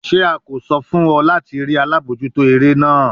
Ṣe a ko sọ fun ọ lati rii alabojuto ere naa?